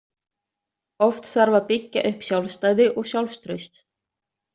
Oft þarf að byggja upp sjálfstæði og sjálfstraust.